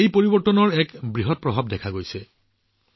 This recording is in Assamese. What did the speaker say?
এই পৰিৱৰ্তনৰ এক বৃহৎ প্ৰভাৱো দৃশ্যমান